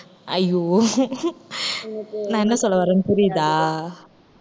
ஐயோ நான் என்ன சொல்ல வர்றேன்னு புரியுதா